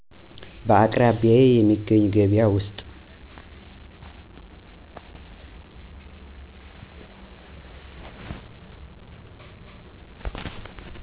በአቅራቢያዬ የሚገኝ ገበያ ውስጥ